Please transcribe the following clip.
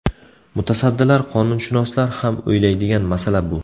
Mutasaddilar, qonunshunoslar ham o‘ylaydigan masala bu.